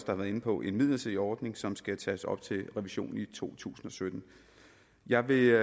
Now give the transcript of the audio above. har været inde på en midlertidig ordning som skal tages op til revision i to tusind og sytten jeg vil